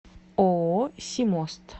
ооо симост